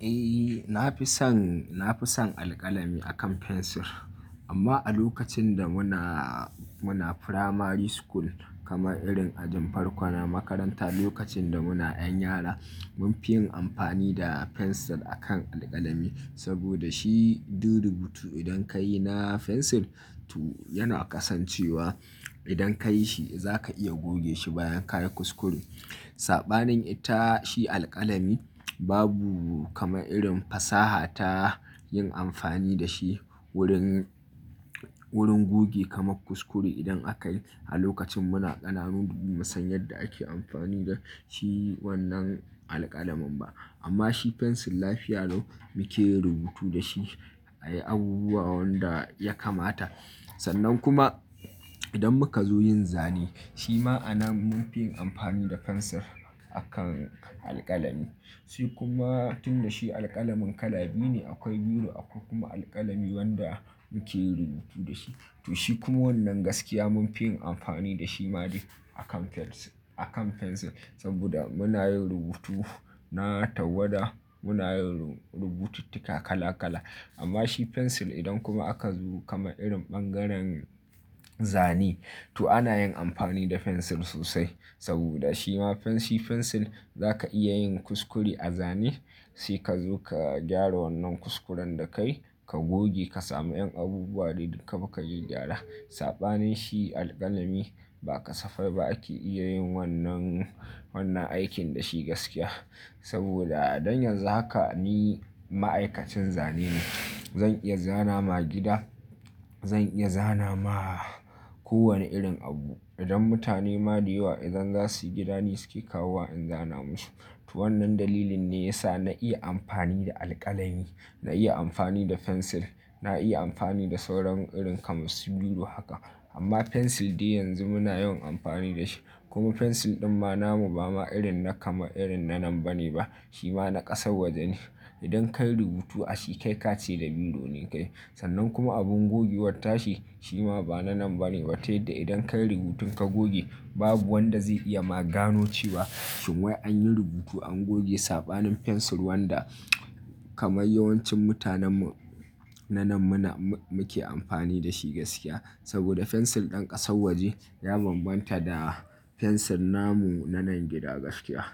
Eh, na fi son, na fi son alƙalami akan fensir. Amma a lokacin da muna, muna primary school kamar irin ajin farko na makaranta, lokacin da muna ‘yan yara, mun fi yin amfani da fensir akan alƙalami. Saboda shi duk rubutu idan ka yi na fensir, to yana kasancewa. Idan ka yi shi, za ka iya goge shi bayan ka yi kuskure. Saɓanin ita shi alƙalami, babu kama irin fasaha ta yin amfani da shi wurin, wurin goge kamar kuskure idan aka yi. A lokacin muna ƙananu ba mu san yadda ake amfani da shi wannan alƙalamin ba. Amma shi fensil lafiya lau muke yin rubutu da shi, a yi abubuwa wanda ya kamata. Sannan kuma, idan muka zo yin zane, shi ma anan mun fi yin amfani da fensir akan alƙalami. Shi kuma tun da shi alƙalamin kala biyu ne, akwai biro akwai kuma alƙalami wanda muke yin rubutu da shi. To shi kuma wannan gaskiya mun fi yin amfani da shi ma dai akan fensir, akan fensir. Saboda muna yin rubutu na tawwada, muna yin rubututtuka kala kala. Amma shi fensil idan kuma aka zo kama irin bangaren zane to ana yin amfani da fensir sosai. Saboda shi ma fensir, fensir za ka iya yin kuskure a zane, sai ka zo ka gyara wannan kuskuren da ka yi, ka goge ka sami ‘yan abubuwa de duk kabi ka gaggyara. Saɓanin shi alƙalami ba kasafai ba ake iya yin wannan, wannan aikin da shi gaskiya. Saboda dan yanzu haka ni ma’aikacin zane ne. Zan iya zana ma gida, zan iya zana ma kowane irin abu. Idan mutane ma dayewa, idan za su yi gida ni suke kawowa in zana musu. To wannan dalilin ne ya sa na iya amfani da alƙalami, na iya amfani da fensir, na iya amfani da sauran irin kamar su biro haka. Amma fensil dai yanzu muna yawan amfani da shi. Kuma fensir ɗin ma namu ba ma irin na kama irin na nan ba ne ba. Shi ma na ƙasar waje ne. Idan ka yi rubutu a shi kai ka ce da biro ne ka yi. Sannan kuma abin gogewar tashi shi ma ba na nan ba ne. Wai tayadda idan ka yi rubutun ka goge, babu wanda zai iya ma gano cewa shin wai an yi rubutu an goge. Saɓanin fensil wanda kamar yawancin mutanen mu na nan muna, muke amfani da shi gaskiya. Saboda fensil ɗin ƙasar waje ya bambanta da fensil namu na nan gida gaskiya.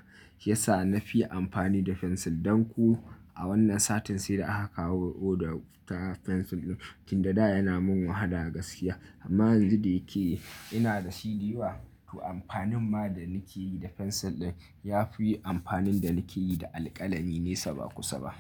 Ya sa na fi amfani da fensil. Don kuwa a wannan satin sai da aka kawo order ta fensir ɗin. Tun da, daa yana mun wahala gaskiya. Amma yanzu da yake ina da shi dayawa to amfanin ma da nake yi da fensir ɗin ya fi amfanin da nake yi da alƙalami ne saba kusa ba.